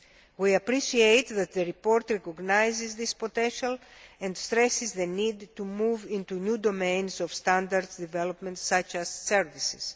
We appreciate that the report recognises this potential and stresses the need to move into new domains of standards development such as services.